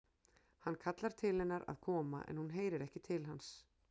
Hann kallar til hennar að koma en hún heyrir ekki til hans.